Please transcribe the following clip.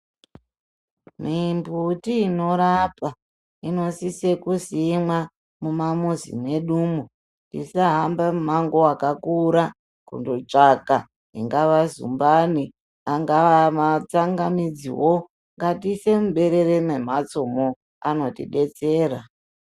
Mimbiti inorapa inosise kusimwa mumizi mwedumwo tisahamba mimango yakakura kundotsvaka ingava zumbani matsagamidziwo ngatiise muberere memhatsomo anotibetsera.